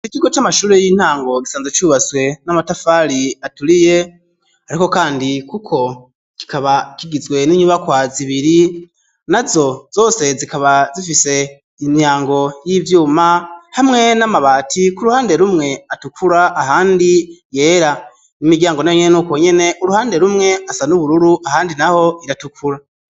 Ikigo c'amashuri y'intango gisanzwe cubatswe n'amatafari aturiye ariko kandi kuko kikaba kigizwe n'inyubakwa zibiri na zo zose zikaba zifise imiryango y'ivyuma hamwe n'amabati ku ruhande rumwe atukura ahandi yera n'imiryango nayo nyene nuko nyene uruhande rumwe asa n ubururu ahandi naho iratukura